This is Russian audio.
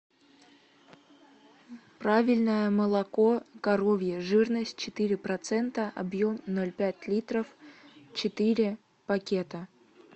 правильное молоко коровье жирность четыре процента объем ноль пять литров четыре пакета